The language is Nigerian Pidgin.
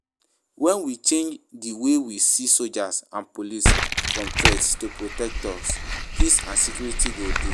When we change di way we see soldiers and police from threats to protectors, peace and security go dey.